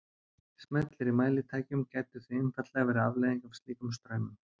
Smellir í mælitækjum gætu því einfaldlega verið afleiðing af slíkum straumum.